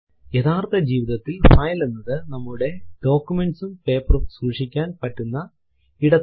യഥാർത്ഥ ജീവിതത്തിൽ ഫൈൽ എന്നത് നമ്മുടെ ഡോക്യുമെന്റ്സും പേപ്പറും സൂക്ഷിക്കാൻ പറ്റുന്ന ഇടത്തെയാണ്